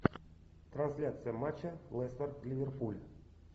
трансляция матча лестер ливерпуль